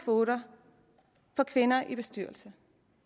kvoter for kvinder i bestyrelser